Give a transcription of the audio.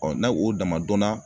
n'a o dama dɔnna